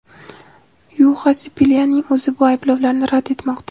Yuxa Sipilyaning o‘zi bu ayblovlarni rad etmoqda.